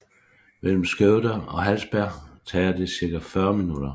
Mellem Skövde og Hallsberg tager det cirka 40 minutter